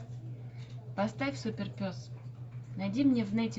поставь суперпес найди мне в нете